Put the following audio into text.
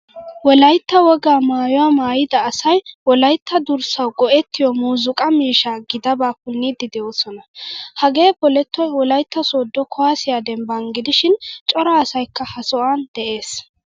Wolaytta wogaa maayuwaa maayida asay wolaytta durssawu go'ettiyo muuzzuqqa miishsha gidaba punidi deosona. Hagee polettoy wolaytta sodo kuwasiyaa dembban gidishin cora asaykka ha sohuwan de'ees.